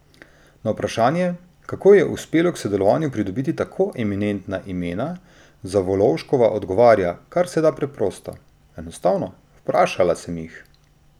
Na vprašanje, kako ji je uspelo k sodelovanju pridobiti tako eminentna imena, Zavolovškova odgovarja karseda preprosto: "Enostavno, vprašala sem jih.